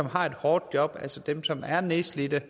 har et hårdt job altså dem som er nedslidte